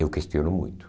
Eu questiono muito.